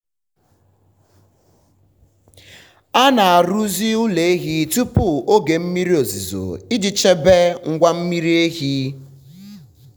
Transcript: a na-arụzi ụlọ ehi tupu oge mmiri ozuzo iji chebe ngwa mmiri ara. ara.